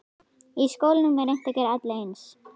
Í skólum er reynt að gera alla eins.